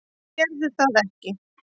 Þær gerðu það ekki.